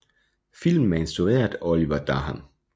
Filmen er instrueret af Olivier Dahan